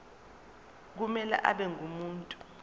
kumele abe ngumuntu